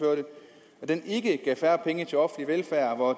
den ikke gav færre penge til offentlig velfærd hvor